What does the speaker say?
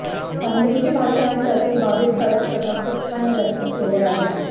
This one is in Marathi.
खानदेशी भाषा आणि त्यातील बारीक सारीक छटा खूप छान व्यक्त केल्या आहेत